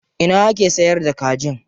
Ina ake sayar da kajin?